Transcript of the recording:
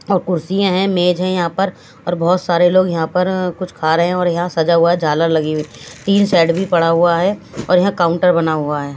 और कुर्सियां हैं मेज हैं यहां पर और बहोत सारे लोग यहां पर अं कुछ खा रहे हैं और यहां सजा हुआ है झालर लगी हुई टीन शेड भी पड़ा हुआ है और यहां काउंटर बना हुआ है।